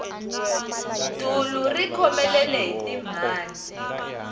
dulu ri khomelele hi timhandzi